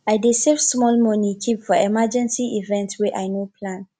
i dey save small moni keep for emergency events wey i no plan